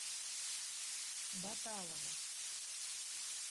баталова